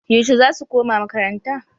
Yauce za su koma makarnata?